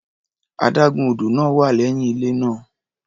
Adágún odò náà wà lẹ́yìn ilé náà.